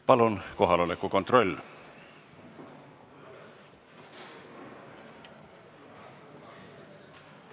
Palun kohaloleku kontroll!